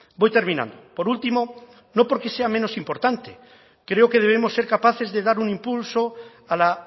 voy terminando por último no porque sea menos importante creo que debemos ser capaces de dar un impulso a la